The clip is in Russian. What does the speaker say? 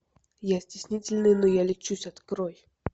я стеснительный но я лечусь открой